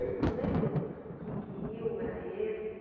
O senhor lembra que que rio era esse?